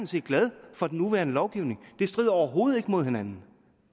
set glad for den nuværende lovgivning det strider overhovedet ikke imod hinanden